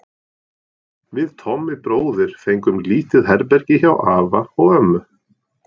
Við Tommi bróðir fengum lítið herbergi hjá afa og ömmu.